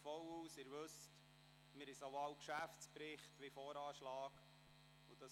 Wie Sie wissen, werden wir im November sowohl den Geschäftsbericht als auch den Voranschlag behandeln.